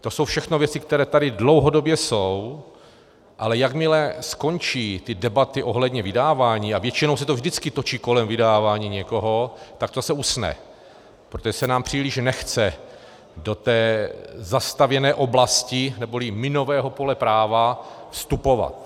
To jsou všechno věci, které tady dlouhodobě jsou, ale jakmile skončí ty debaty ohledně vydávání, a většinou se to vždycky točí kolem vydávání někoho, tak to se usne, protože se nám příliš nechce do té zastavěné oblasti neboli minového pole práva vstupovat.